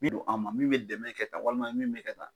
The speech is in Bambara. Min don an ma, min bɛ dɛmɛ kɛ tan walima min bɛ ka tan